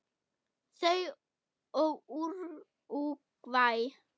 Þau og Úrúgvæ.